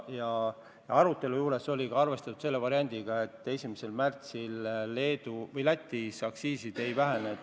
Ja arutelul oli arvestatud selle variandiga, et 1. märtsil Lätis aktsiisid ei lange.